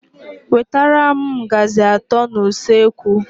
Wetara m ngazi atọ n'usekwu!!!